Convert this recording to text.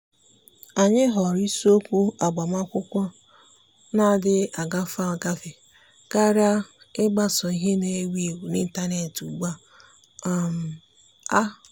ànyị́ họ̀ọ̀rọ̀ isiokwu ágbámàkwụ́kwọ́ nà-adị́ghị́ ágafe ágafe kàrị́a ị́gbásò ìhè nà-èwú éwú n’ị́ntánétị̀ ugbu um a.